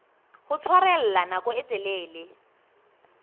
ho tshwarella nako e telele